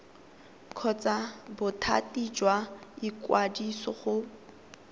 kgotsa bothati jwa ikwadiso go